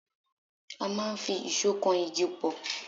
A máa ń fi ìṣó kan igi pọ̀.